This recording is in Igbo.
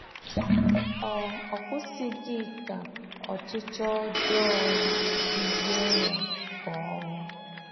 Ọ Ọ kwụsịghị ka ọchịchọ ọjọọ ya duzie ya ka ohu.